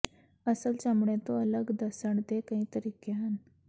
ਅਸਲ ਚਮੜੇ ਤੋਂ ਅਲੱਗ ਦੱਸਣ ਦੇ ਕਈ ਤਰੀਕੇ ਹਨ